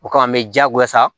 O kama an bɛ diyagoya sa